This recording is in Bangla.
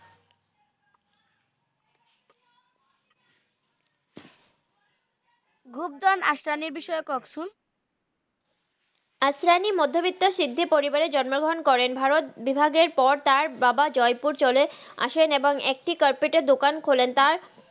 গ্রুপ দস আস্রানিএর বিষয়ে কহেন তো আশ্রানি মধহ ব্রিত্ত সিধহি পরিবারে জন্ম গ্রাহান করেন ভারত বিভাগের পর তার বাবা জাইপুর চলে আসেন এবং একটি কারপিতের দোকান খলেন